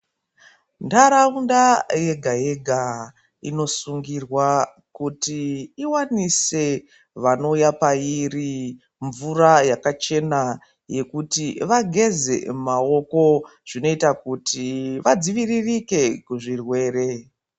Ndaraunda yega-yega inosungirwa kuti iwanise vanouya pairi mvura yakachena yekuti vageze maoko zvinoita kuti vadzivirike ku zvirwere.